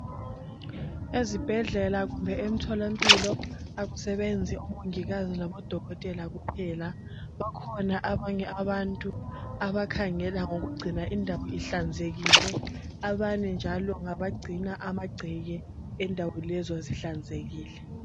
Ezibhedlela kumbe emtholampilo akusebenzi omongikazi labodokotela kuphela bakhona abanye abantu abakhangela ngokugcina indawo ihlanzekile. Abanye njalo ngabagcina amagceke endawo lezo zihlanzekile.